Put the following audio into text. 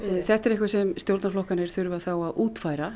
þetta er eitthvað sem stjórnarflokkarnir þurfa að útfæra